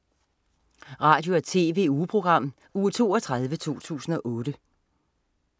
Radio- og TV-ugeprogram Uge 32, 2008